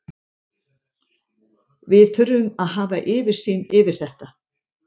Við þurfum að hafa yfirsýn yfir þetta.